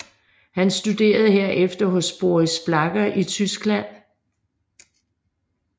Han studerede herefter hos Boris Blacher i Tyskland